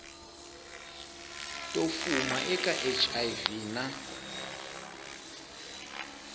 to fuma eka hiv na